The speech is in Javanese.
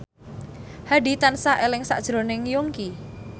Hadi tansah eling sakjroning Yongki